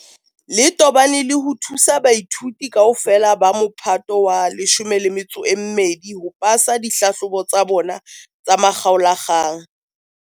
le tobane le ho thusa baithuti kaofela ba Mophato wa 12 ho pasa dihlahlobo tsa bona tsa makgaola-kgang.